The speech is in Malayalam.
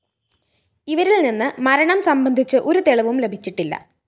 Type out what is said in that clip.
ഇവരില്‍ നിന്ന് മരണം സംബന്ധിച്ച് ഒരു തെളിവും ലഭിച്ചിട്ടില്ല